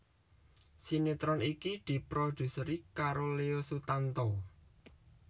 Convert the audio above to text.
Sinetron iki diproduseri karo Leo Sutanto